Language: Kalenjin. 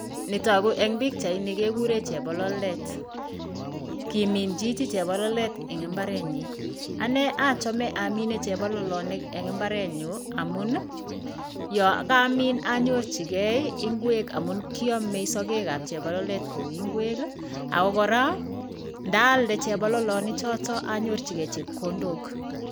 Netaku eng pikchaini kekure chebololdet. Kimin chichi chebololdet eng imbarenyi. Ane achame amine chebololonik eng imbarenyu amun, yo kami anyorchigei ingwek amun kiamei sagek ab chebololdet koek ingwek. Ako kora ndaalde chebololonik chotok anyirchigei chepkondok.